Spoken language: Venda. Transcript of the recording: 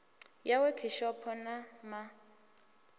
ya wekhishopho na ma ḓ